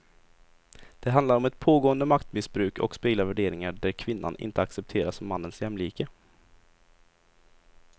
Det handlar om ett pågående maktmissbruk och speglar värderingar där kvinnan inte accepteras som mannens jämlike.